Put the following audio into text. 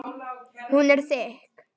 Hún er þykk.